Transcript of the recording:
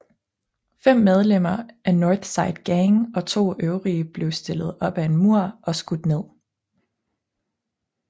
Fem medlemmer af North Side Gang og to øvrige blev stillet op ad en mur og skudt ned